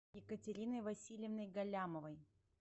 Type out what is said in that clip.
екатериной васильевной галлямовой